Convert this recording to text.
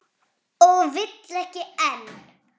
Og vill ekki enn.